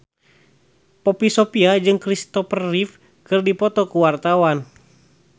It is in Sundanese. Poppy Sovia jeung Christopher Reeve keur dipoto ku wartawan